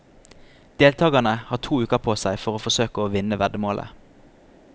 Deltagerne har to uker på seg for å forsøke å vinne veddemålet.